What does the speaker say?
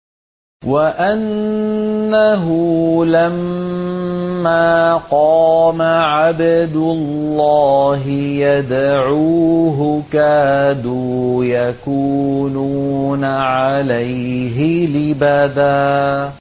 وَأَنَّهُ لَمَّا قَامَ عَبْدُ اللَّهِ يَدْعُوهُ كَادُوا يَكُونُونَ عَلَيْهِ لِبَدًا